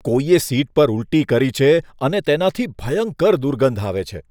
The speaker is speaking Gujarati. કોઈએ સીટ પર ઊલટી કરી છે અને તેનાથી ભયંકર દુર્ગંધ આવે છે.